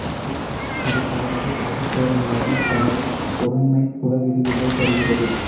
இது பலவகை ஆகுபெயர்களாகிப் பல பொருண்மைப் புல விரிவுகளைத் தருகிறது